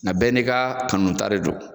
Nga bɛɛ n'i ka kanuta de don